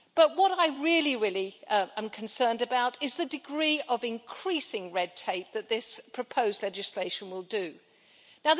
What I really, really am concerned about is the degree of increasing red tape that this proposed legislation will produce.